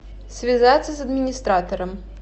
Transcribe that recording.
связаться с администратором